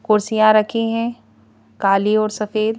कुर्सियां रखी है काली और सफेद।